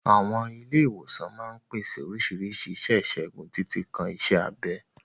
Àwọn ilé ìwòsàn máa ń pèsè oríṣiríṣi iṣẹ́ ìṣègùn, títí kan iṣẹ́ abẹ.